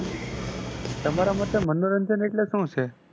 તમારા મતે મનોરંજન એટલે શું છે?